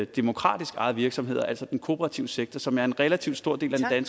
demokratisk ejede virksomheder altså den kooperative sektor som er en relativt stor del af den